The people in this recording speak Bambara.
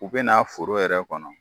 U bɛna n'a foro yɛrɛ kɔnɔ.